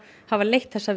hafa leitt þessar